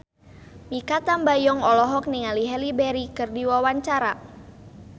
Mikha Tambayong olohok ningali Halle Berry keur diwawancara